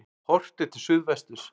Horft er til suðvesturs.